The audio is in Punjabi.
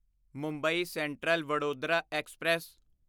Mumbai central Vadodara express